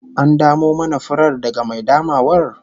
An damo mana furar daga mai damawar?